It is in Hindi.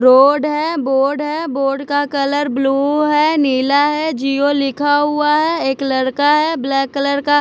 रोड है बोर्ड है बोर्ड का कलर ब्लू है नीला है जिओ लिखा हुआ है एक लड़का है ब्लैक कलर का--